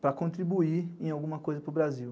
para contribuir em alguma coisa para o Brasil.